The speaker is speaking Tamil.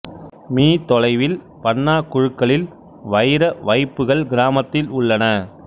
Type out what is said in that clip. மீ தொலைவில் பன்னா குழுக்களில் வைர வைப்புக்கள் கிராமத்தில் உள்ளன